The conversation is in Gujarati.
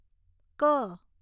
ક